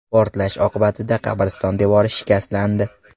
Portlash oqibatida qabriston devori shikastlandi.